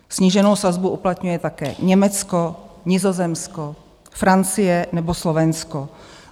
Sníženou sazbu uplatňuje také Německo, Nizozemsko, Francie nebo Slovensko.